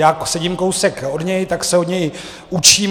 Já sedím kousek od něj, tak se od něj učím.